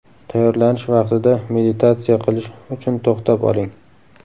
Tayyorlanish vaqtida meditatsiya qilish uchun to‘xtab oling.